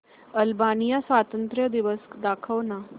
Albania स्वातंत्र्य दिवस दाखव ना